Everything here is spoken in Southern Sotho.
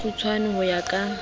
ha kgutshwanyana ho ya ka